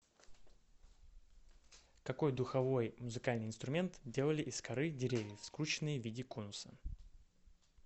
какой духовой музыкальный инструмент делали из коры деревьев скрученный в виде конуса